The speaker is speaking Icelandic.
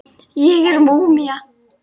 Ég er múmían.